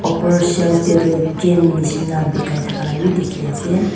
upar shelf teh tu cane nisna bikhai thaka laga be dikhai ase.